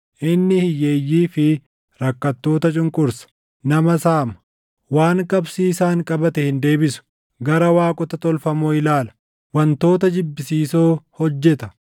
Inni hiyyeeyyii fi rakkattoota cunqursa. Nama saama. Waan qabsiisaan qabate hin deebisu. Gara waaqota tolfamoo ilaala. Wantoota jibbisiisoo hojjeta.